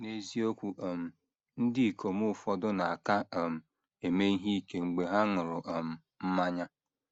N’eziokwu um, ndị ikom ụfọdụ na - aka um eme ihe ike mgbe ha ṅụrụ um mmanya.